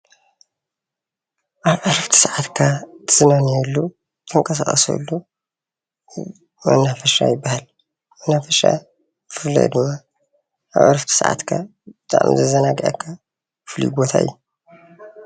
ኣብ ዕረፍቲ ሰዓትካ እትዘናገዐሉን እትዝናነየሉን መናፈሻ ይብሃል፡፡ መናፈሻ ብፍላይ ድማ ኣብ ዕረፍቲ ሰዓትካ ብጣዕሚ ዘዘናግዐካ ፍሉይ ቦታ እዩ፡፡